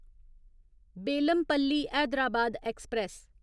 Bellampalli Hyderabad express